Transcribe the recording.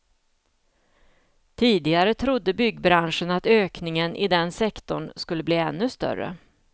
Tidigare trodde byggbranschen att ökningen i den sektorn skulle bli ännu större.